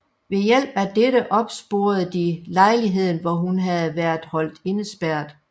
Ved hjælp af dette opsporede de lejligheden hvor hun havde været holdt indespærret